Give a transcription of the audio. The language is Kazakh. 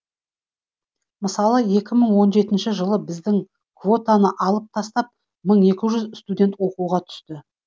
мысалы екі мың он жетінші жылы бізден квотаны алып тастап мың екі жүз студент оқуға түсті